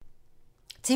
TV 2